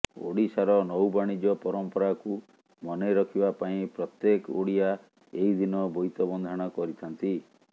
ଓଡିଶାର ନୌ ବାଣିଜ୍ୟ ପରମ୍ପରାକୁ ମନେ ରଖିବା ପାଇଁ ପ୍ରତ୍ୟେକ ଓଡିଆ ଏହି ଦିନ ବୋଇତ ବନ୍ଦାଣ କରିଥାନ୍ତି